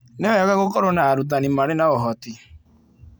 Nĩ wega gũkorũo na arutani marĩ na ũhoti.